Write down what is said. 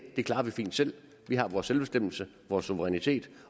det klarer vi selv vi har vores selvbestemmelsesret vores suverænitet